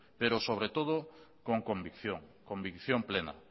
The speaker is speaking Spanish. pero sobre todo con convicción plena